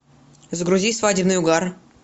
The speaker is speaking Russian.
загрузи свадебный угар